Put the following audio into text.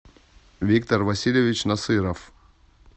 виктор васильевич насыров